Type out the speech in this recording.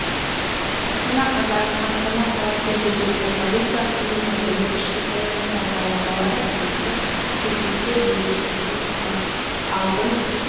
астана қазан астана қаласы жергілікті полиция қызметі білім ішкі саясат басқармалары бірлесіп суицидке бейімділіктін алдын